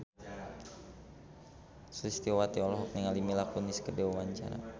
Sulistyowati olohok ningali Mila Kunis keur diwawancara